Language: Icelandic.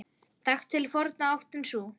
Þekkt til forna áttin sú.